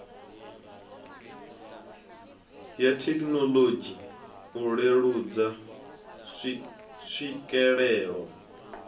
ya thekinolodzhi u leludza tswikelelo